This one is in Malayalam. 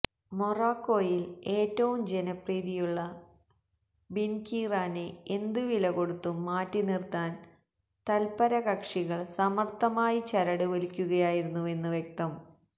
മൊറോക്കോയില് ഏറ്റവും ജനപ്രീതിയുള്ള ബിന്കീറാനെ എന്തുവിലകൊടുത്തും മാറ്റിനിര്ത്താന് തല്പര കക്ഷികള് സമര്ഥമായി ചരടുവലിക്കുകയായിരുന്നുവെന്ന് വ്യക്തം